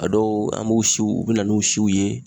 A dɔw an b'u siw u bi na n'u siw ye